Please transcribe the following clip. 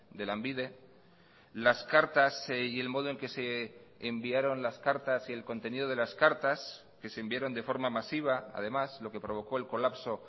de lanbide las cartas y el modo en que se enviaron las cartas y el contenido de las cartas que se enviaron de forma masiva además lo que provocó el colapso